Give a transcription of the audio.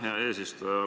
Aitäh, hea eesistuja!